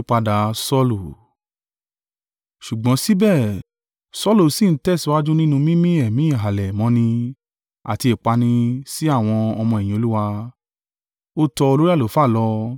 Ṣùgbọ́n síbẹ̀, Saulu sí ń tẹ̀síwájú nínú mímí èémí ìhalẹ̀ mọ́ni àti ìpani sí àwọn ọmọ-ẹ̀yìn Olúwa. Ó tọ olórí àlùfáà lọ,